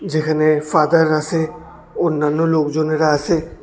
যেখানে ফাদার আসে অন্যান্য লোকজনেরা আসে।